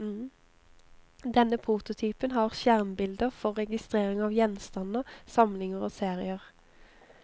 Denne prototypen har skjermbilder for registrering av gjenstander, samlinger og serier.